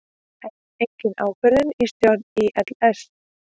Enn engin ákvörðun í stjórn ÍLS